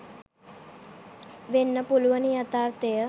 වෙන්න පුළුවනි යථාර්ථය.